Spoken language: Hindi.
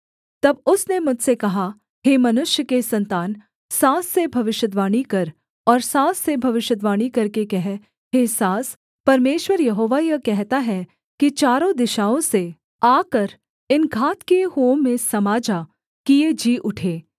तब उसने मुझसे कहा हे मनुष्य के सन्तान साँस से भविष्यद्वाणी कर और साँस से भविष्यद्वाणी करके कह हे साँस परमेश्वर यहोवा यह कहता है कि चारों दिशाओं से आकर इन घात किए हुओं में समा जा कि ये जी उठें